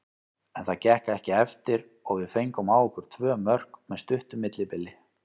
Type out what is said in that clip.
En það gekk ekki eftir og við fengum á okkur tvö mörk með stuttu millibili.